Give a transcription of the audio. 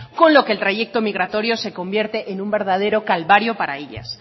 con lo que el trayecto migratorio se convierte en un verdadero calvario para ellas